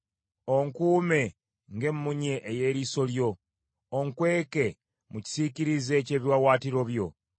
Onkuume ng’emmunye ey’eriiso lyo; onkweke mu kisiikirize ky’ebiwaawaatiro byo.